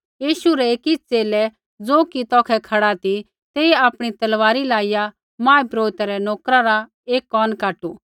यीशु रै एकी च़ेले ज़ो कि तौखै खड़ा ती तेइयै आपणी तलवारियै लाइया महापुरोहित रै नोकर रा एक कोन काटू